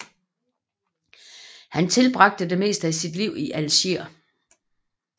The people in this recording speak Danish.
Han tilbragte det meste af sit liv i Algier